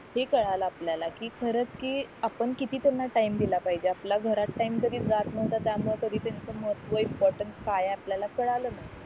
हे कळलं आपल्याला कि खरंच कि आपण किती त्यांना टाईम दिला पाहिजे आपला घरात टाईम जरी जात नव्हता त्या मूळ तरी त्यांचं महत्व इम्पॉर्टन्स काय आहे आपल्याला कळलं